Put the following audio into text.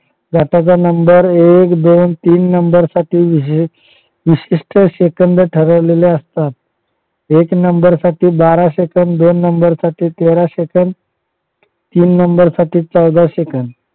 घाटाचा नंबर असेल एक दोन तीन नंबर साठी हे विशिष्ट सेकंद ठरवलेले असतात. एक नंबर साठी बारा सेकंद दोन नंबर साठी तेरा सेकंद तीन नंबर साठी चौदा सेकंद